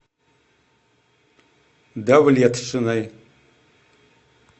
давлетшиной